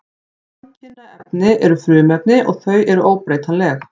Samkynja efni eru frumefni og þau eru óbreytanleg.